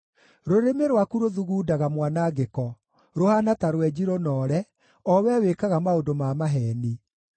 Rũrĩmĩ rwaku rũthugundaga mwanangĩko; rũhaana ta rwenji rũnoore, o wee wĩkaga maũndũ ma maheeni.